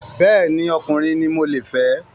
Bẹ́ẹ̀ni, ọkùnrin ni mo le fẹ́